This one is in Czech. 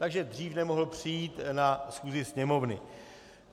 Takže dřív nemohl přijít na schůzi Sněmovny.